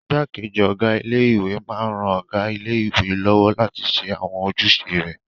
Igbákejì ọ̀gá ilé-ìwé máa n ran ọ̀gá ilé-ìwé lọ́wọ́ láti ṣe àwọn ojúṣe rẹ̀